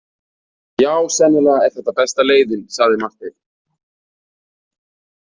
Já, sennilega er þetta besta leiðin, sagði Marteinn.